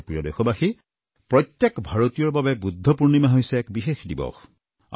মোৰ প্ৰিয় দেশবাসী প্ৰত্যেক ভাৰতীয়ৰ বাবে বুদ্ধ পূৰ্ণিমা হৈছে এক বিশেষ দিৱস